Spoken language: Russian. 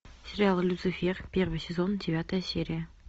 сериал люцифер первый сезон девятая серия